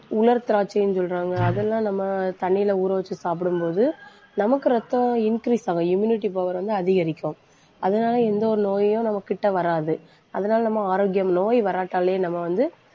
உலர் திராட்சையின்னு சொல்றாங்க அதெல்லாம், நம்ம தண்ணியில ஊற வச்சு சாப்பிடும்போது நமக்கு ரத்தம் increase ஆகும். Immunity power வந்து அதிகரிக்கும். அதனால, எந்த ஒரு நோயையும் நம்ம கிட்ட வராது. அதனால நம்ம ஆரோக்கியம் நோய் வராட்டாலே நம்ம வந்து